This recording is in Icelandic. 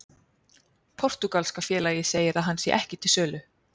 Portúgalska félagið segir að hann sé ekki til sölu.